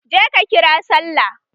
Je ka kira sallah!